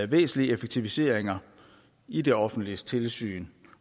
væsentlige effektiviseringer i det offentliges tilsyn